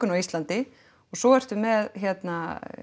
á Íslandi og svo ertu með hérna